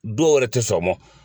Dɔw wɛrɛ te sɔn a ma.